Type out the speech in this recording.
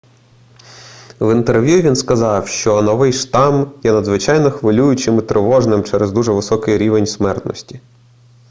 в інтерв'ю він сказав що новий штам є надзвичайно хвилюючим і тривожним через дуже високий рівень смертності